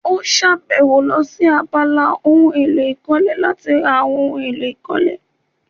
Ó sàbẹ̀wò lọ sí abala ohun èlò ìkọ́lé láti ra àwọn ohun èlò ìkọ́lé